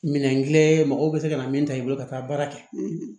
Minɛn kelen mɔgɔw bɛ se ka na min ta i bolo ka taa baara kɛ